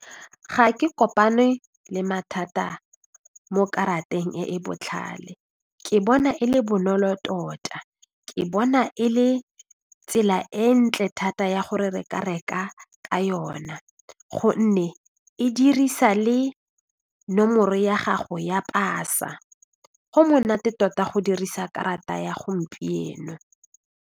Ga ke kopane le mathata mo karateng e e botlhale ke bona e le bonolo tota, ke bona e le tsela e ntle thata ya gore re ka reka ka yona gonne e dirisa le nomoro ya gago ya pasa, go monate tota go dirisa karata ya gompieno.